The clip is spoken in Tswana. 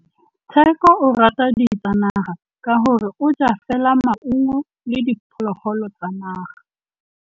Tshekô o rata ditsanaga ka gore o ja fela maungo le diphologolo tsa naga.